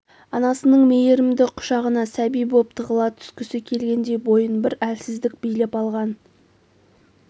анасының мейірімді құшағына сәби боп тығыла түскісі келгендей бойын бір әлсіздік билеп алған